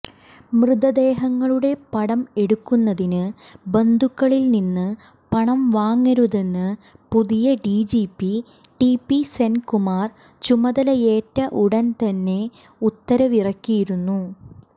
മൃതദേഹങ്ങളുടെ പടംഎടുക്കുന്നതിന് ബന്ധുക്കളില്നിന്ന് പണം വാങ്ങരുതെന്ന് പുതിയ ഡിജിപി ടിപി സെന്കുമാര് ചുമതലയേറ്റ ഉടന്തന്നെ ഉത്തരവിറക്കിയിരുന്നു